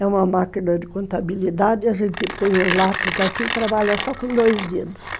É uma máquina de contabilidade, a gente põe o lápis aqui e trabalha só com dois dedos.